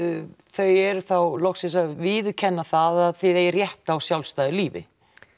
þau eru þá loksins að viðurkenna það að þið eigið rétt á sjálfstæðu lífi